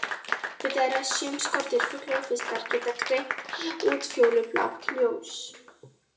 Vitað er að sum skordýr, fuglar og fiskar geta greint útfjólublátt ljós.